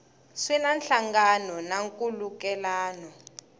swi na nhlangano na nkhulukelano